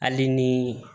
Hali ni